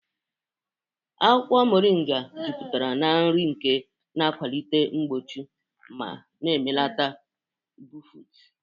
Akwukwo Moringa juputara na nri nke na-akwalite mgbochi ma na-ebelata mbufụt.